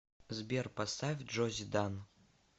сбер поставь джози дан